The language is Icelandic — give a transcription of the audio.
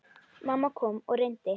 Mamma kom og reyndi.